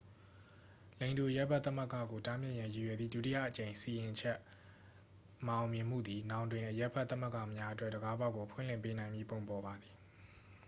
လိင်တူအရပ်ဘက်သမဂ္ဂကို တားမြစ်ရန်ရည်ရွယ်သည့် ဒုတိယအကြိမ်စီရင်ချက်မအောင်မြင်မှုသည် နောင်တွင် အရပ်ဘက် သမဂ္ဂများအတွက် တံခါးပေါက်ကို ဖွင့်လှစ်ပေးနိုင်မည့်ပုံပေါ်ပါသည်